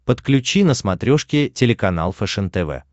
подключи на смотрешке телеканал фэшен тв